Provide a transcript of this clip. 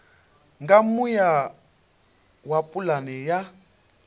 nga muya wa pulane ya